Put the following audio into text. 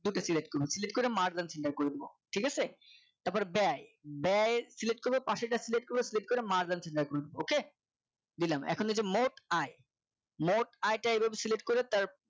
ওইটা Select করব Select করে Mark and select করে দেব ঠিক আছে তারপরে ব্যয় ব্যয় Select করবপশে যা Select করবো Select করে Mark and select করব ok দিলাম এখন এই যে মোট আয় মোট আয়টা এইভাবে Select করে তার